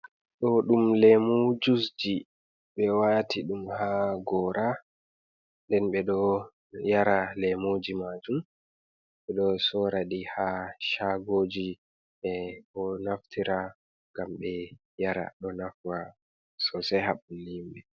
Ɗo ɗum lemu juiceji. Ɓe wati ɗum ha gora, nden ɓe ɗo yara lemuji majum, Ɓedo soraɗi ha shagoji. Ɓe ɗo naftira ngam ɓe yara. Ɗo nafa sosai ha ɓalli himɓe